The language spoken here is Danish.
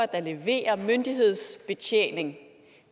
der leverer myndighedsbetjening